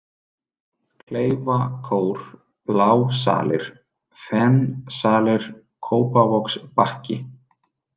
Kleifakór, Blásalir, Fensalir, Kópavogsbakki